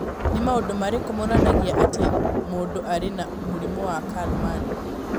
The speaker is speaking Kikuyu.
Nĩ maũndũ marĩkũ monanagia atĩ mũndũ arĩ na mũrimũ wa Kallmann?